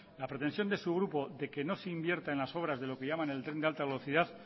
la pretensión de su grupo de que no se invierta en las obras de lo que llaman el tren de alta velocidad